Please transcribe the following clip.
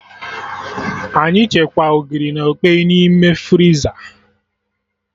Anyị chekwaa Ogiri na okpeyi n'ime friza